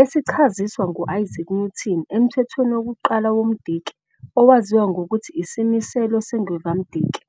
esichaziswa nguIsaac Newton eMthethweni wokuQala woMdiki, owaziwa ngokuthi Isimiselo seNgwevamdiki.